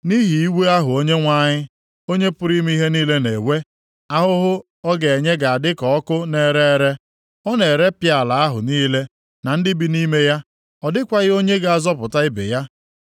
Nʼihi iwe ahụ Onyenwe anyị, Onye pụrụ ime ihe niile na-ewe, ahụhụ ọ ga-enye ga-adị ka ọkụ na-ere ere; ọ na-erepịa ala ahụ niile na ndị bi nʼime ya; ọ dịkwaghị onye ga-azọpụta ibe ya.